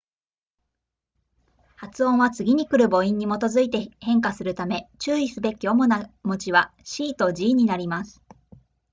発音は次に来る母音に基づいて変化するため注意するべき主な文字は c と g になります